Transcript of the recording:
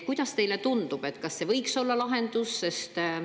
Kuidas teile tundub, kas see võiks olla lahendus?